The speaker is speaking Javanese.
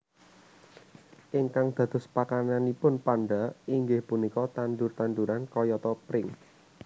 Ingkang dados pakananipun panda inggih punika tandur tanduran kayata pring